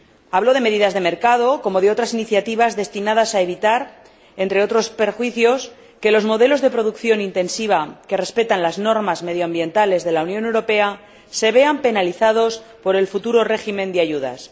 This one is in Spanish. Hablo de medidas de mercado, como de otras iniciativas destinadas a evitar, entre otros perjuicios, que los modelos de producción intensiva que respetan las normas medioambientales de la Unión Europea se vean penalizados por el futuro régimen de ayudas.